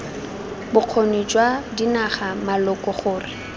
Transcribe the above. bokgoni jwa dinaga maloko gore